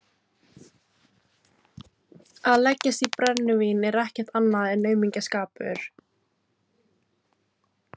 Að leggjast í brennivín er ekkert annað en aumingjaskapur.